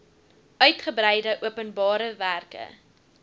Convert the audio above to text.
uitgebreide openbare werke